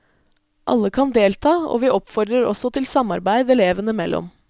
Alle kan delta, og vi oppfordrer også til samarbeid elevene mellom.